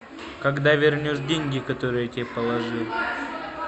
когда вернешь деньги которые я тебе положил